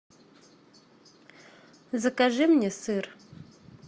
закажи мне сыр